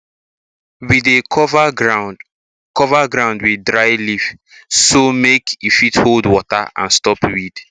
we dey cover ground cover ground with dry leaf so make e fit hold water and stop weed